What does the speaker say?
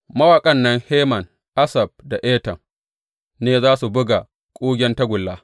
Mawaƙan nan Heman, Asaf da Etan, ne za su buga kugen tagulla.